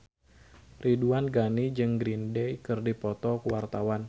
Ridwan Ghani jeung Green Day keur dipoto ku wartawan